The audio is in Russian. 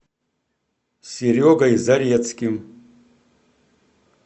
серегой зарецким